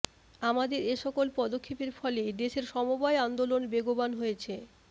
আমাদের এসকল পদক্ষেপের ফলে দেশে সমবায় আন্দোলন বেগবান হয়েছে